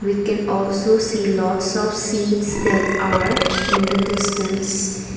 we can also see lots of seats that are in the distanc.